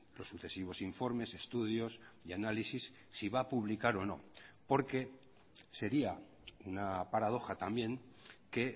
los sucesivos informes estudios y análisis si va a publicar o no porque sería una paradoja también que